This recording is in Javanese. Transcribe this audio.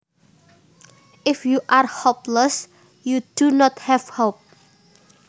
If you are hopeless you do not have hope